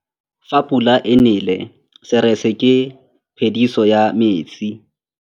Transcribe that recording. Fa pula e nelê serêtsê ke phêdisô ya metsi.